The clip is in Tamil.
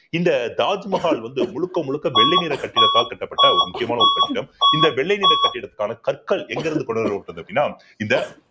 சொல்ல இந்த தாஜ்மஹால் வந்து முழுக்க முழுக்க வெள்ளை நிற கட்டிடத்தால் கட்டப்பட்ட ஒரு முக்கியமான ஒரு கட்டிடம் இந்த வெள்ளை நிற கட்டிடத்துக்கான கற்கள் எங்கிருந்து கொண்டு வரப்பட்டது அப்படின்னா இந்த